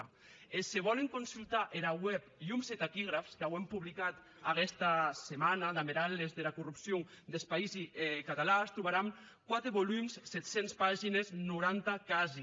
e se vòlen consultar era web lhums e taquígrafs qu’auem publicat aguesta semana damb er atlàs dera corrupcion des païsi catalans trobaràn quate volums sèt centes pagines nauanta casi